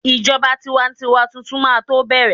ijoba tiwantiwa Titun ma to bẹrẹ